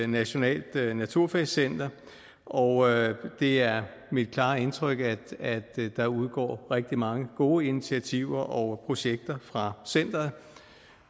nationalt naturfagscenter og det er mit klare indtryk at der udgår rigtig mange gode initiativer og projekter fra centeret